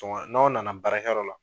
n'aw na na baarakɛ yɔrɔ la